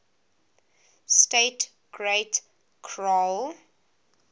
state great khural